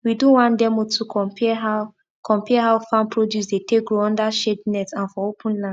we do one demo to compare how compare how farm produce dey take grow under shade net and for open land